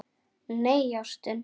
Nei, ástin.